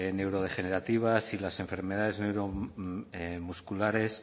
neurodegenerativas y las enfermedades neuromusculares